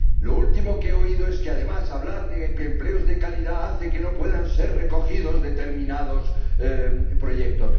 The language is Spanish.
Lo último que he oído es que, además, hablar de empleos de calidad hace que no puedan ser recogidos determinados proyectos.